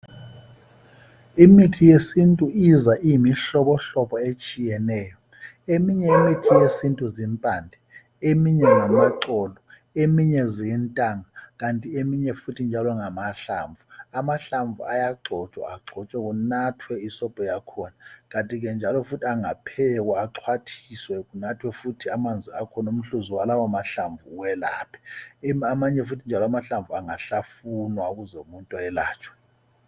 Imithi yesintu iza iyimihlobohlobo etshiyeneyo eminye imithi yesintu zimphande , eminye ngamaxolo, eminye zintanga kanti eminye futhi njalo ngamahlamvu amahlamvu ayagxotshwagxotshwa kunathwe isobho yakhona kanti ke njalo engaphekwa axwathiswe kunathwe umhkuzu wakhona kanti ke njalo amanye amahlamvu ayahlavuma